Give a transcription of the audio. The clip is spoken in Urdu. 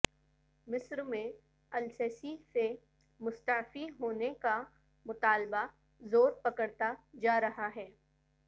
مصرمیں السیسی سے مستعفی ہونے کا مطالبہ زور پکڑتا جا رہا ہے